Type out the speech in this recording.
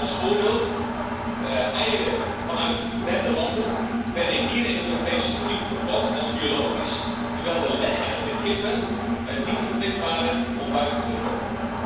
Als voorbeeld eieren vanuit derde landen werden hier in de Europese Unie verkocht als biologisch, terwijl de leghennen, de kippen niet verplicht waren om buiten te komen.